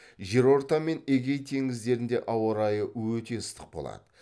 жерорта мен эгей теңіздерінде ауа райы өте ыстық болады